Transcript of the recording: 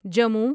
Jammu